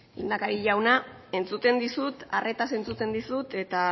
lehendakari jauna entzuten dizut arretaz entzuten dizut eta